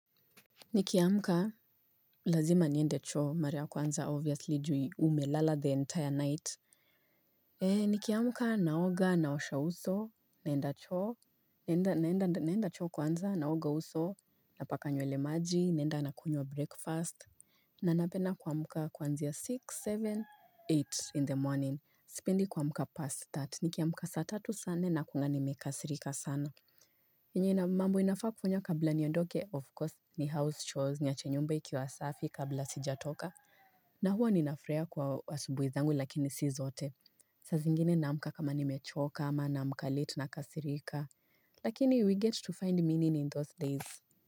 Nikiamka, lazima niende choo, mara ya kwanza obviously juu umelala the entire night. Eee, nikiamka, naoga, naosha uso, naenda choo, naenda, naenda choo kwanza, naoga uso, napaka nywele maji, naenda nakunywa breakfast. Na napenda kuamka kuanzia six, seven, eight in the morning, sipendi kuamka past that, nikiamka saa tatu saa nne, nakuanga nimekasirika sana. Yenye mambu inafaa kufanya kabla niondoke of course ni house chores nyache nyumba ikiwa safi kabla sijatoka na huwa ninafurahia kwa asubuhi zangu lakini si zote Sazingine naamka kama nimechoka ama naamka late nakasirika Lakini we get to find meaning in those days.